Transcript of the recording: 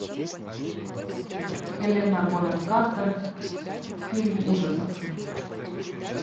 хелена бонэм картер фильм ужасов